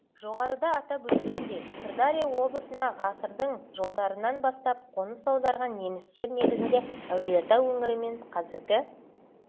жоғарыда атап өткендей сырдария облысына ғасырдың жылдарынан бастап қоныс аударған немістер негізінен әулиеата өңірі мен қазіргі